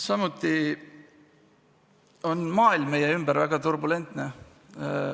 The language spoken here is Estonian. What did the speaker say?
Samuti on maailm meie ümber väga turbulentne.